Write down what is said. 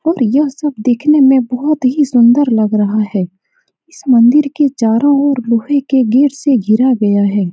और यह सब देखने में बहुत ही सुन्दर लग रहा है इस मंदिर के चारो ओर लोहे के गेट से घेरा गया है।